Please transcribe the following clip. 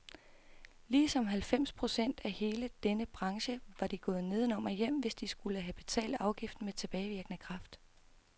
Ligesom halvfems procent af hele denne branche var de gået nedenom og hjem, hvis de skulle have betalt afgiften med tilbagevirkende kraft.